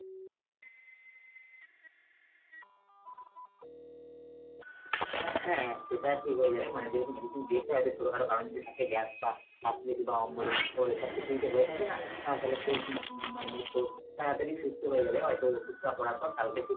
হ্যাঁ সেটা ঠিক হয়ে যাবে মানে ওখানে যেহেতু medicine দিয়েছে হয়তো ছোটখাটো কারণ যদি থাকে gas বা acidity বা অম্বল এসব কিছু যদি হয়ে থাকে না আহ তাহলে খুব উম মানে তোর তাড়াতাড়ি সুস্থ হয়ে যাবে হয়তো ওষুধটা পড়ার পর কালকে থেকে